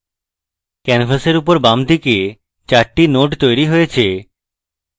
ক্যানভাসের উপরে বামদিকে 4 the nodes তৈরী হয়েছে